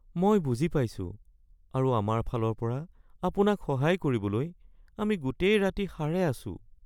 মই বুজি পাইছোঁ আৰু আমাৰ ফালৰ পৰা আপোনাক সহায় কৰিবলৈ আমি গোটেই ৰাতি সাৰে আছোঁ